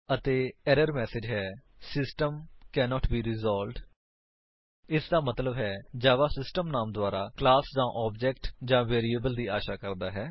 ਅਤੇ error message ਹੈ system cannot be resolved ਇਸਦਾ ਮਤਲੱਬ ਹੈ ਕਿ ਜਾਵਾ ਸਿਸਟਮ ਨਾਮ ਦੁਆਰਾ ਕਲਾਸ ਜਾਂ ਆਬਜੇਕਟ ਜਾਂ ਵੇਰਿਏਬਲ ਦੀ ਆਸ਼ਾ ਕਰਦਾ ਹੈ